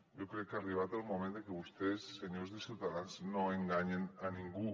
jo crec que ha arribat el moment de que vostès senyors de ciutadans no enganyen ningú